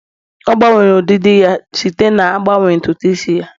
ọ gbanwere ọdịdị ya dite na-agbanwe ntutu isi ya